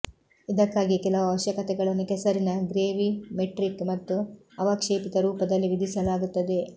ಇದಕ್ಕಾಗಿಯೇ ಕೆಲವು ಅವಶ್ಯಕತೆಗಳನ್ನು ಕೆಸರಿನ ಗ್ರೇವಿಮೆಟ್ರಿಕ್ ಮತ್ತು ಅವಕ್ಷೇಪಿತ ರೂಪದಲ್ಲಿ ವಿಧಿಸಲಾಗುತ್ತದೆ